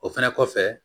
O fɛnɛ kɔfɛ